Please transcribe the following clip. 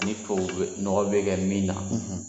Ni tubabu nɔgɔ bɛ kɛ min na.